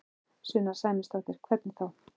Sunna Sæmundsdóttir: Hvernig þá?